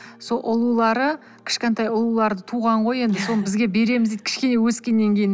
сол ұлулары кішкентай ұлуларды туған ғой енді соны бізге береміз дейді кішкене өскен кейін